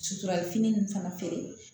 Sutura fini ninnu fana fɛ